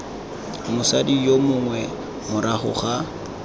mosadi yo mongwe morago ga